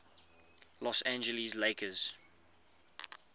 los angeles lakers